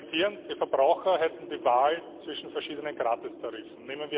Sie argumentieren, die Verbraucher hätten die Wahl zwischen verschiedenen Gratistarifen.